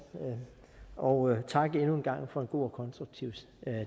og tak endnu en gang for en god og konstruktiv